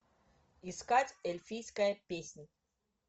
искать эльфийская песнь